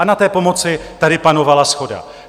A na té pomoci tady panovala shoda.